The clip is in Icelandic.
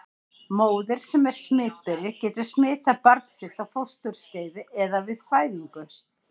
Móðir sem er smitberi getur smitað barn sitt á fósturskeiði eða við fæðingu.